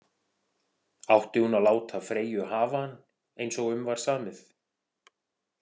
Átti hún að láta Freyju hafa hann eins og um var samið?